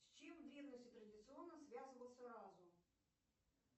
с чем в древности традиционно связывался разум